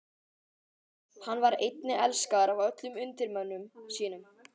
Hann var einnig elskaður af öllum undirmönnum sínum.